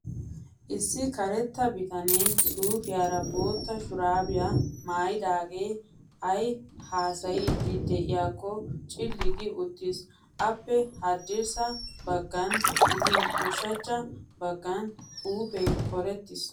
Issi karetta bitanee suupiyaara bootta shurabiyaa maayyidaagee ayi haasayiiddi diyaakko cilli gi uttis. Appe haddirssa baggan gidin ushachcha baggan xuupee korettis.